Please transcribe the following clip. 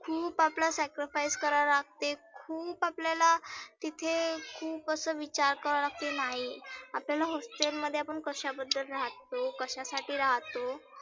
खुप आपल्याला sacrifice करावा लागते. खुप आपल्याला तीथे खुप असे विचार करावा लागते नाही आपल्याला hostel मध्ये आपण कशा बद्दल राहतो? कशा साठी राहतो?